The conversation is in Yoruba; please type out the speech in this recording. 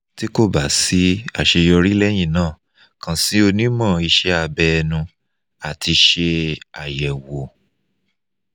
ti ko ba si aseyori lẹ́yìn náà kan si onimo ise abe enu ati se ayewo